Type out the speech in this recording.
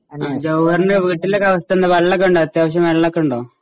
ജൌഹറിന്റെ വീട്ടിലെ അവസ്ഥ ഒക്കെ എന്താ വെള്ളം ഒക്കെ ഉണ്ടോ? അത്യാവശ്യം വെള്ളം ഒക്കെ ഉണ്ടോ ?